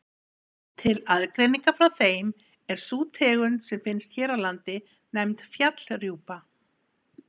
Til aðgreiningar frá þeim er sú tegund sem finnst hér á landi nefnd fjallrjúpa.